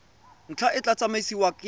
ntlha e tla tsamaisiwa ke